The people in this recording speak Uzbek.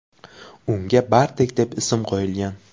Unga Bartek deb ism qo‘yilgan.